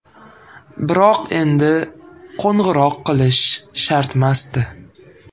Biroq endi qo‘ng‘iroq qilish shartmasdi.